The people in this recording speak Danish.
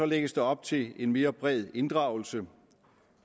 lægges der op til en mere bred inddragelse